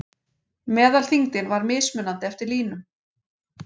Meðalþyngdin var mismunandi eftir línum.